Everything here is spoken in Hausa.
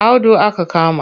Audu aka kama